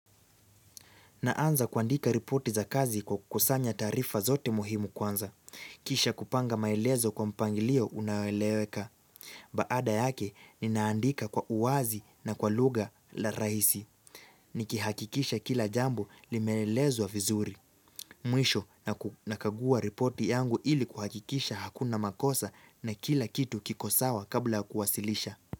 Naanza kuandika ripoti za kazi kwa kusanya taarifa zote muhimu kwanza. Kisha kupanga maelezo kwa mpangilio unaoeleweka. Baada yake ninaandika kwa uwazi na kwa lugha la rahisi. Nikihakikisha kila jambo limeelezwa vizuri. Mwisho nakagua ripoti yangu ili kuhakikisha hakuna makosa na kila kitu kikosawa kabla kuwasilisha.